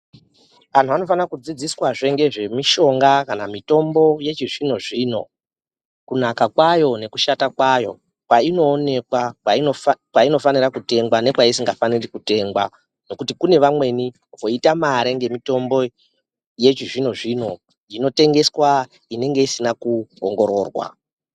Antu anofane kudzidziswazve ngezvemishonga kana mitombo yechizvino zvino kunaka kwayo nekushata kwayo, kwainoonekwa, kwainofanira kutengwa nekwaisingafaniri kutengwa, nekuti kune vamweni voita mare ngemitombo yechizvino zvino inotengeswa inenge isina kuongororwa.